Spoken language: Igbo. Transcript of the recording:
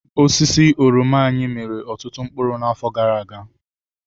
Osisi oroma anyị miri ọtụtụ mkpụrụ n'afọ gara aga.